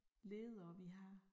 Ledere vi har